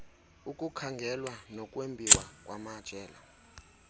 ukukhangelwa nokwembiwa kwamajelo